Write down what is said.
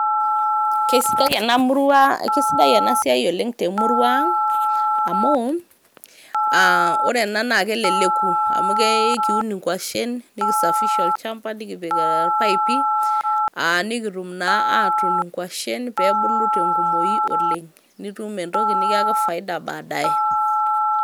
kesidai ena murrua ,kesidai ena siai te murrua ang amu a ore ena naa keleleku amu ke ekiun inkwashen nikisafisha olchamba nikipik e ipaipi nikitum naa atuun inkwashen pebulu tenkumoi oleng nitum entoki nikiyaki faida baadaye